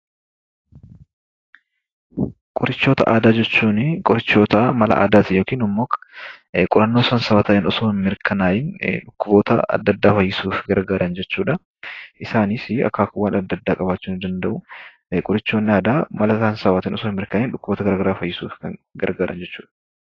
Qoricha aadaa jechuun qorichoota mala aadaa ta'e yookaan immoo qorannoo saayinsawaa ta'ee otoo hin mirkanaa'iin dhukkuba fayyisuuf gargaaran jechuudha. Isaanis akaakuuwwan adda addaa qabaachuu ni danda'u. Isaanis qorannoo saayinsawaatiin otoo hin mirkanaa'iin dhukkuboota adda addaa fayyisuuf kan gargaaranidha.